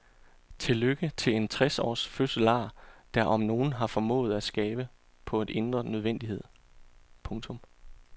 Til lykke til en tres års fødselar der om nogen har formået at skabe på en indre nødvendighed. punktum